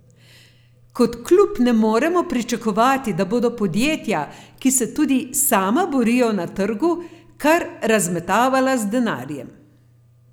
Kot klub ne moremo pričakovati, da bodo podjetja, ki se tudi sama borijo na trgu, kar razmetavala z denarjem.